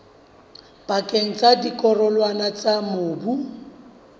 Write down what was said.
pakeng tsa dikarolwana tsa mobu